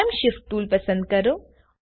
time shift toolપસંદ કરો